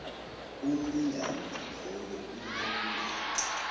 umlingani loyo unelungelo